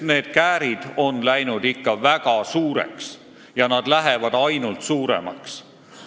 Need käärid on läinud ikka väga suureks ja lähevad ainult suuremaks.